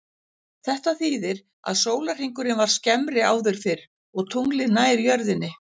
Þetta þýðir að sólarhringurinn var skemmri áður fyrr og tunglið nær jörðinni.